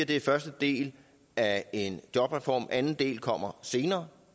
det er første del af en jobreform anden del kommer senere